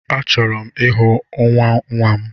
Achọrọ m ịhụ nwanwa m